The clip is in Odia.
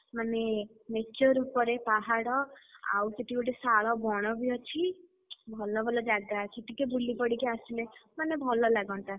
ମାନେ nature ଉପରେ ପାହାଡ ଆଉ ସେଠି ବି ଗୋଟେ ଶାଳବଣ ବି ଅଛି। ଭଲ ଭଲ ଜାଗା ଅଛି ଟିକେ ବୁଲିପଡିକି ଆସିଲେ ମାନେ ଭଲ ଲାଗନ୍ତା।